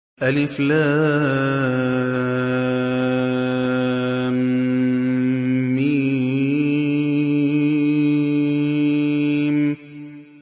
الم